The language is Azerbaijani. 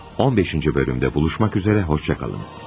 15-ci bölümdə görüşmək üzrə, sağ olun.